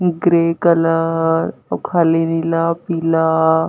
grey colour अउ खाली नीला पीला--